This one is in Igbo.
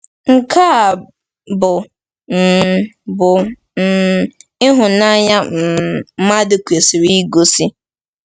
Nke a bụ um bụ um ịhụnanya um mmadụ kwesịrị igosi.